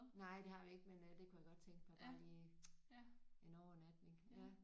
Nej det har vi ikke men øh det kunne jeg godt tænke mig bare lige en overnatning ja